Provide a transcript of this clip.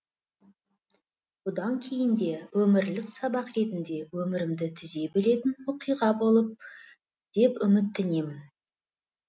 бұдан кейін де өмірлік сабақ ретінде өмірімді түзей білетін оқиға болып деп үміттенемін